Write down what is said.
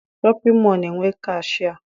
Shọpịn mọọ na- enwe kashịa